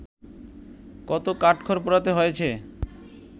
কত কাঠখড় পোড়াতে হয়েছে